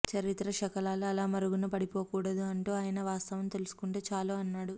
చరిత్ర శకలాలు అలా మరుగున పడిపోకూడదు అంటూ ఆయన వాస్తవం తెలుసుకుంటే చాలు అన్నాడు